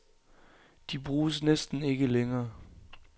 De bruges næsten ikke længere.